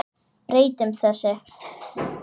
Breytum þessu!